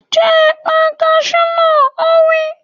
Jẹ ẹ̀pà kasú náà! Ó wí.